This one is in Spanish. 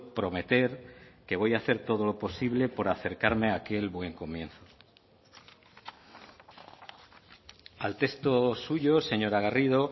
prometer que voy a hacer todo lo posible por acercarme a aquel buen comienzo al texto suyo señora garrido